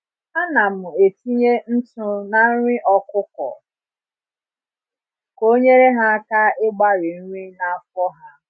Anam etinye ntụ na nri ọkụkọ ka onyere ha aka ịgbari nri na afọ ha